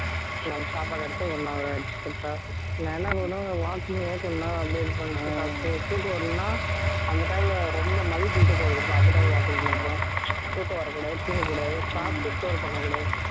நம்ம சாப்பாடு எடுத்து one hour ஆகிடுச்சு correct ஆ நான் என்ன பண்ணுவேன் walking one hour பண்ணுவே அப்படி இது பண்ணிட்டு சாப்பிட்டு தூக்கம் வரலைன்னா அந்த time ல ரொம்ப இருக்கும் தெரியுமா அந்த time ல walking பண்றே தூக்கம் வரக்கூடாது தூங்கக்கூடாது சாப்பிட்டு store பண்ணக்கூடாது